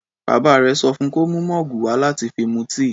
Bàbá rẹ̀ sọ fún kó mú mọ́ọ̀gù wà láti fi mu tíì.